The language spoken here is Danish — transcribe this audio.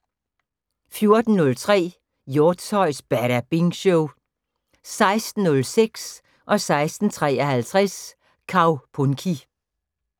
14:03: Hjortshøjs Badabing Show 16:06: Kaupunki 16:53: Kaupunki